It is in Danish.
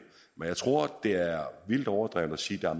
men jeg tror det er vildt overdrevet at sige at